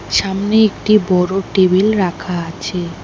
সামনে একটি বড় টেবিল রাখা আছে।